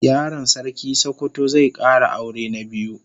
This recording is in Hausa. Yaron sarkin sokoto zai Kara aure na biyu